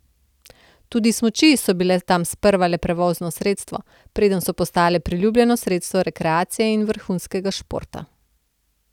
Tudi smuči so bile tam sprva le prevozno sredstvo, preden so postale priljubljeno sredstvo rekreacije in vrhunskega športa.